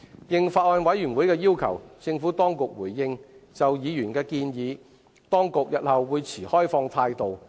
應法案委員會的要求，政府當局表示日後會就議員的建議持開放態度。